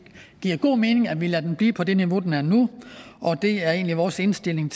giver god mening at vi lader den blive på det niveau den er nu det er egentlig vores indstilling